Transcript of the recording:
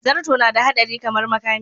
Zarto nada hadari kamar makami.